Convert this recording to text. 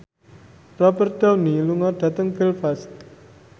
Robert Downey lunga dhateng Belfast